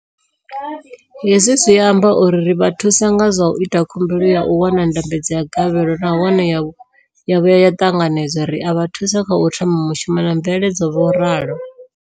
Hezwi zwi amba uri ri vha thusa nga zwa u ita khumbelo ya u wana ndambedzo ya gavhelo nahone ya vhuya ya ṱanganedzwa, ri a vha thusa kha u thoma mushumo na mveledzo, vho ralo.